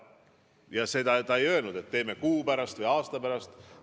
Ja seda ta ei öelnud, et ma tulen kuu pärast või aasta pärast.